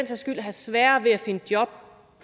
skyld have sværere ved at finde job